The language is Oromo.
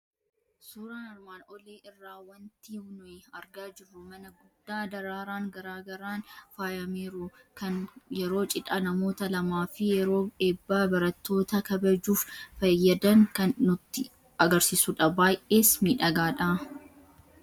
Suuraa armaan olii irraa waanti nuyi argaa jirru mana guddaa, daraaraan garaa garaan faayameeru, kan yeroo cidha namoota lamaa fi yeroo eebba barattootaa kabajuuf fayyadan kan nutti argisiisu dha. Baay'ees miidhaga!